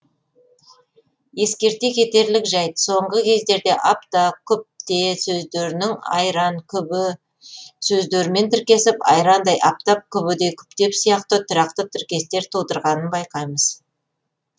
ескерте кетерлік жайт соңғы кездерде апта күпте сөздерінің айран күбі сөздерімен тіркесіп айрандай аптап күбідей күптеп сияқты тұрақты тіркестер тудырғанын байқаймыз